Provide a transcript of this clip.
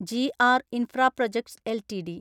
G R infra projects LTD